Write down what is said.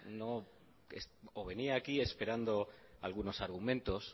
o venía aquí esperando algunos argumentos